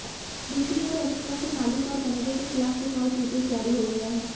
दूसरी ओर रेस्तरां के मालिक और मैनेजर के खिलाफ लुकआउट नोटिस जारी हो गया है